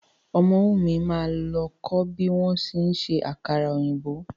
Ọmọ́wùmí máa lọ kó bí wọ́n ṣe ń ṣe àkàrà òyìnbó.